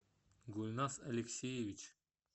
гульнас алексеевич